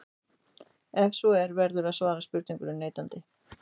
Ef svo er verður að svara spurningunni neitandi.